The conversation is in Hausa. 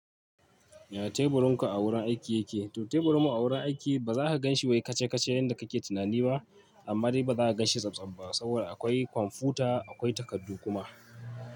Ya teburin ka a wurin aiki yake? To teburin mu a wurin aiki baza ka ganshi wai kace kace yanda kake tunani ba, amma dai bazaka ganshi tsabtsab ba saboda akwai kwamfuta, aƙwai takardu kuma.